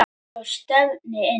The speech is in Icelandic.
Og stefndi inn